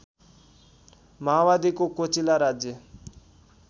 माओवादीको कोचिला राज्य